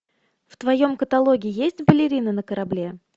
в твоем каталоге есть балерина на корабле